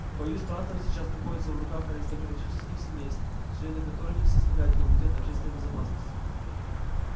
боюсь трантор сейчас находится в руках аристократических семейств члены которых и составляют комитет общественной безопасности